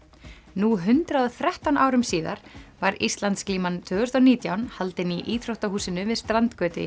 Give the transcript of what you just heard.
nú hundrað og þrettán árum síðar var Íslandsglíman tvö þúsund og nítján haldin í íþróttahúsinu við strandgötu í